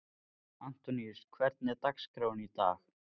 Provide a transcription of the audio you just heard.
Antoníus, hvernig er dagskráin í dag?